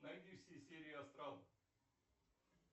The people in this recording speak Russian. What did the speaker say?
найди все серии астрал